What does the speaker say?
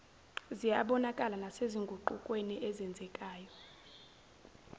ziyabonakala nasezinguqukweni ezenzekayo